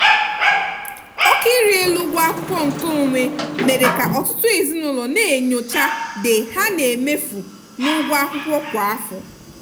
oke ịrị elu ụgwọ akwụkwọ nkeonwe mere ka ọtụtụ ezinụlọ na-enyocha the ha na-emefu n'ụgwọ akwụkwọ kwa afọ.